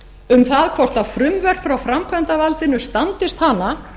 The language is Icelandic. um það hvort frumvörp frá framkvæmdarvaldinu standist hana